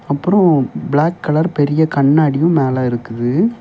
அப்புறம் black colour பெரிய கண்ணாடியும் மேல இருக்குது.